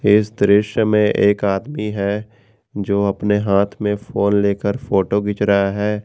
इस दृश्य में एक आदमी है जो अपने हाथ में फोन लेकर फोटो खींच रहा है।